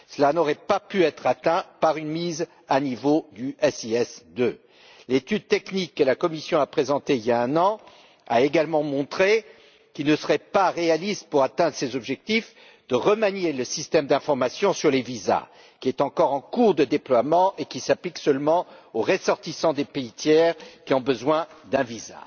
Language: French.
Cela n'aurait pas pu être obtenu par une mise à niveau du SIS II. L'étude technique présentée par la Commission, il y a un an, a également montré qu'il ne serait pas réaliste, pour atteindre ces objectifs, de remanier le système d'information sur les visas, qui est encore en cours de déploiement et s'applique seulement aux ressortissants des pays tiers qui ont besoin d'un visa.